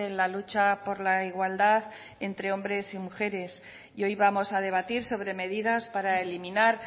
la lucha por la igualdad entre hombres y mujeres hoy vamos a debatir sobre medidas para eliminar